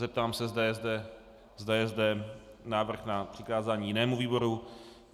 Zeptám se, zda je zde návrh na přikázání jinému výboru.